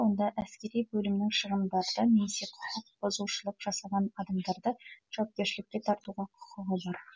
онда әскери бөлімнің шығындарды немесе құқық бұзушылық жасаған адамдарды жауапкершілікке тартуға құқығы бар